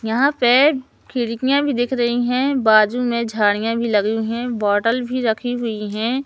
यहां पे खिड़कियां भी देख रही हैं बाजू में झाड़ियां भी लगी हुई हैं बोटल भी रखी हुई है।